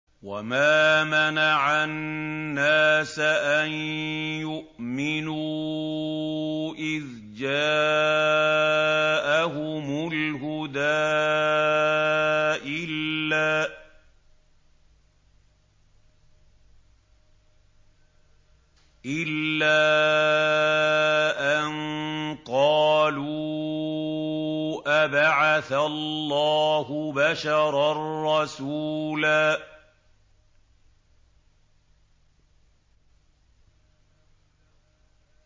وَمَا مَنَعَ النَّاسَ أَن يُؤْمِنُوا إِذْ جَاءَهُمُ الْهُدَىٰ إِلَّا أَن قَالُوا أَبَعَثَ اللَّهُ بَشَرًا رَّسُولًا